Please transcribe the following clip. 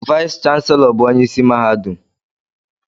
Vice Chancellor bụ onye isi mahadum.